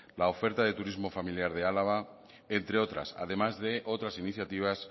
la oferta del turismo familiar de álava entre otras además de otras iniciativas